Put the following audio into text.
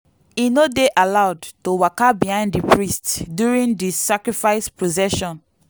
e no dey allowed to waka behind di priest during di sacrifice procession.